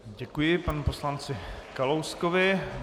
Děkuji panu poslanci Kalouskovi.